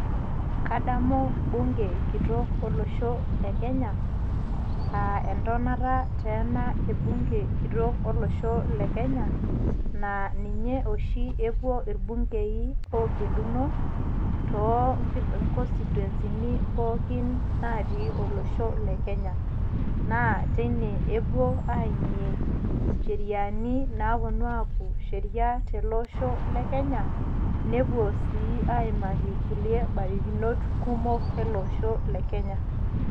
Kadmu bunge kitok olosho le kenya aa entonota e bunge olosho kitok le kenya aa ninye oshi epuo irbukei oogeluno tooo constituency pookin naatii olosho le kenya naa teine epuo aaimie incheriani naapuonu aaaku sheria telooosho le kenya nepuo sii aimaki kulie barakinot kumok ele osho le kenya.